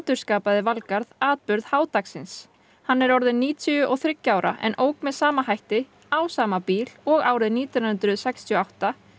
endurskapaði Valgarð atburð h dagsins hann er orðinn níutíu og þriggja ára en ók með sama hætti á sama bíl og árið nítján hundruð sextíu og átta